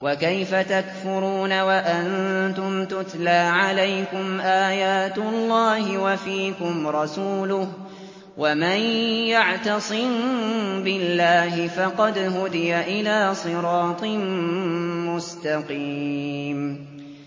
وَكَيْفَ تَكْفُرُونَ وَأَنتُمْ تُتْلَىٰ عَلَيْكُمْ آيَاتُ اللَّهِ وَفِيكُمْ رَسُولُهُ ۗ وَمَن يَعْتَصِم بِاللَّهِ فَقَدْ هُدِيَ إِلَىٰ صِرَاطٍ مُّسْتَقِيمٍ